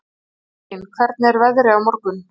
Ellín, hvernig er veðrið á morgun?